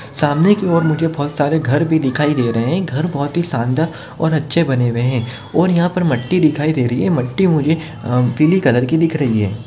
सामने की ओर मुझे बहुत सारे घर भी दिखाई दे रहे है घर बहुत ही शानदार अच्छे बने हुए है और यहा पर मट्टी दिखाई दे रही है मट्टी मुझे पीली कलर की दिख रही है।